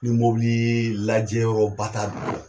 Ni mobilii lajɛ o batar